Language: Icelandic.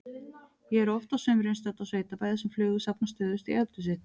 Ég er oft á sumrin stödd á sveitabæ þar sem flugur safnast stöðugt í eldhúsið.